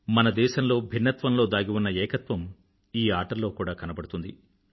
మన దేశంలో భిన్నత్వంలో దాగి ఉన్న ఏకత్వం ఈ ఆటల్లో కూడా కనబడుతుంది